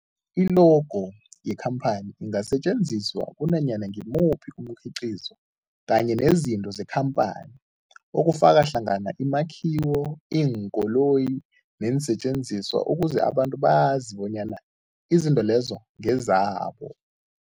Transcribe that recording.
I-logo yekhamphani ingasetjenziswa kunanyana ngimuphi umkhiqizo kanye nezinto zekhamphani okufaka hlangana imakhiwo, iinkoloyi neensentjenziswa ukuze abantu bazi bonyana izinto lezo ngezabo.